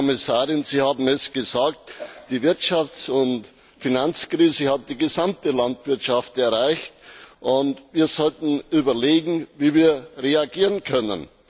Frau Kommissarin, Sie haben gesagt, die Wirtschafts und Finanzkrise hat die gesamte Landwirtschaft erreicht, und wir sollten überlegen, wie wir reagieren können.